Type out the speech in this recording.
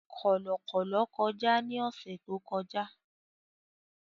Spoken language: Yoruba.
Kọ̀lọ̀kọ̀lọ̀ kọjá ní ọ̀sẹ̀ tó kọjá